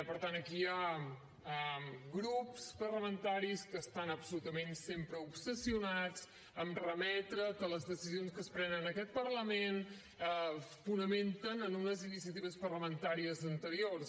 per tant aquí hi ha grups parlamentaris que estan absolutament sempre obsessionats a remetre que les decisions que es prenen en aquest parlament es fonamenten en unes iniciatives parlamentàries anteriors